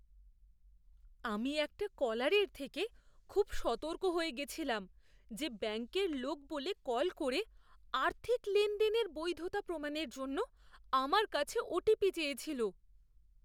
আমি একটা কলারের থেকে খুব সতর্ক হয়ে গেছিলাম যে ব্যাংকের লোক বলে কল করে আর্থিক লেনদেনের বৈধতা প্রমাণের জন্য আমার কাছে ওটিপি চেয়েছিল।